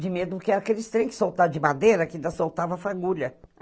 De medo, porque era aqueles trens que soltavam de madeira, que ainda soltava fagulha.